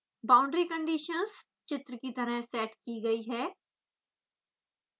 boundary conditions चित्र की तरह सेट की गयी हैं